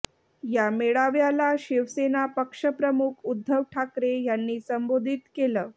या मेळाव्याला शिवसेना पक्षप्रमुख उद्धव ठाकरे यांनी संबोधित केलं